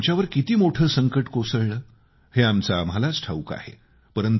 आता आमच्यावर किती मोठं संकट कोसळलं हे आमचं आम्हालाच ठाऊक आहे